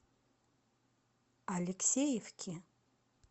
алексеевки